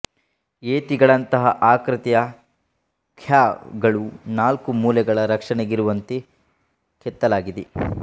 ಯೇತಿಗಳಂತಹ ಆಕೃತಿಯ ಕ್ಯಾಹ್ ಗಳು ನಾಲ್ಕು ಮೂಲೆಗಳ ರಕ್ಷಣೆಗಿರುವಂತೆ ಕೆತ್ತಲಾಗಿದೆ